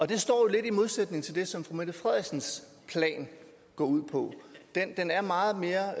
det står jo lidt i modsætning til det som fru mette frederiksens plan går ud på den er meget mere